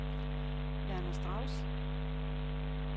Werner Strauss